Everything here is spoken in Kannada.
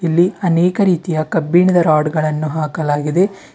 ಇಲ್ಲಿ ಅನೇಕ ರೀತಿಯ ಕಬ್ಬಿಣದ ರಾಡ್ ಗಳನ್ನು ಹಾಕಲಾಗಿದೆ.